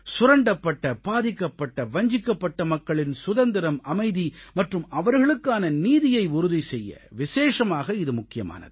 சுரண்டப்பட்ட பாதிக்கப்பட்ட வஞ்சிக்கப்பட்ட மக்களின் சுதந்திரம் அமைதி மற்றும் அவர்களுக்கான நீதியை உறுதி செய்ய விசேஷமாக இது முக்கியமானது